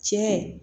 Cɛ